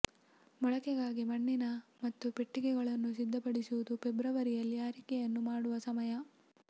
ಮೊಳಕೆಗಾಗಿ ಮಣ್ಣಿನ ಮತ್ತು ಪೆಟ್ಟಿಗೆಗಳನ್ನು ಸಿದ್ಧಪಡಿಸುವುದು ಫೆಬ್ರವರಿಯಲ್ಲಿ ಆರೈಕೆಯನ್ನು ಮಾಡುವ ಸಮಯ